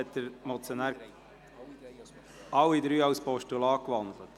– Der Motionär hat alle drei Ziffern in Postulate gewandelt.